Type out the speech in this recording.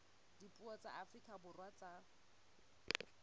dipuo tsa afrika borwa tsa